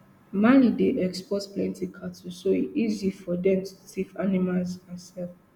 mali dey export plenty cattle so e easy for dem to thief animals and sell